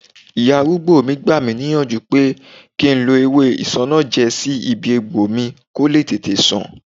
Ìyá arúgbó mi gbà mí níyànjú pé kí n lo ewé isanaje sí ibi egbò mi ko le tètè san